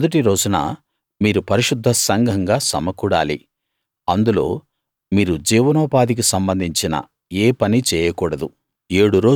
మొదటి రోజున మీరు పరిశుద్ధ సంఘంగా సమకూడాలి అందులో మీరు జీవనోపాధికి సంబంధించిన ఏ పనీ చేయకూడదు